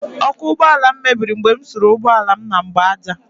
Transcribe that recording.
Ọkụ ụgbọala m mebiri mgbe m suru ụgbọala m na mgbaaja